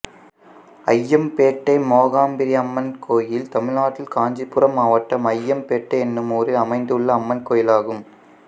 அய்யம்பேட்டை மோகாம்பரியம்மன் கோயில் தமிழ்நாட்டில் காஞ்சிபுரம் மாவட்டம் அய்யம்பேட்டை என்னும் ஊரில் அமைந்துள்ள அம்மன் கோயிலாகும்